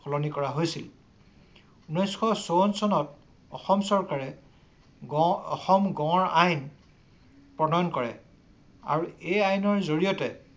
সলনি কৰা হৈছিল। ঊনৈশ চৌৱন চনত অসম চৰকাৰে গড় অসম গড় আইন প্ৰণয়ন কৰে আৰু সেই আইনৰ জৰিয়তে